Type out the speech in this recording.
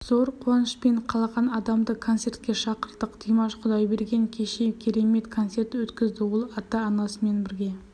зор қуанышпен қалаған адамды концертке шақырдық димаш құдайберген кеше керемет концерт өткізді ол ата-анасымен бірге